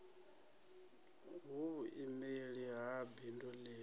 hu vhuimeli ha bindu ḽi